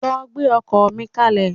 Lọ gbẹ́ ọkọ́ mi kalẹ̀.